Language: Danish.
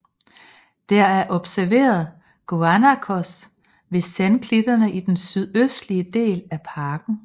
Der er observeret guanacos ved sandklitterne i den sydøstlige del af parken